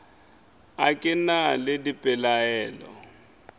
a ke na le dipelaelo